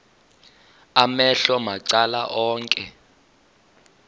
amehlo macala onke